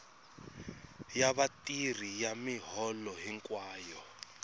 ya vatirhi ya miholo hinkwayo